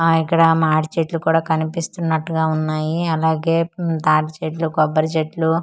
ఆ ఇక్కడ మాడి చెట్లు కుడ కన్పిస్తున్నట్టుగా వున్నాయి అలాగే ఉమ్ తాటిచెట్లు కొబ్బరి చెట్లు .]